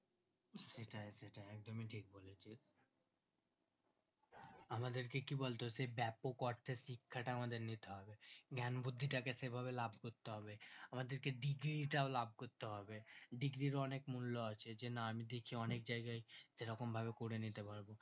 আমাদেরকে কি বলতো সেই ব্যাপক অর্থে শিক্ষাটা আমাদের নিতে হবে জ্ঞান বুদ্ধিটাকে সে ভাবে লাভ করতে হবে আমাদেরকে degree তাও লাভ করতে হবে degree রির অনেক মূল্য আছে যে না আমি দেশের অনেক জায়গায় এই রকম ভাবে করে নিতে পারবো